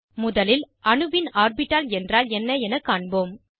முதலில் அணுவின் ஆர்பிட்டால் என்றால் என்ன என காண்போம்